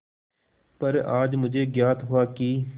पर आज मुझे ज्ञात हुआ कि